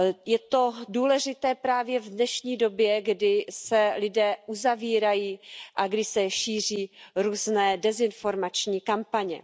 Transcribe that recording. Je to důležité právě v dnešní době, kdy se lidé uzavírají a kdy se šíří různé dezinformační kampaně.